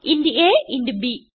int a ഇന്റ് ബ്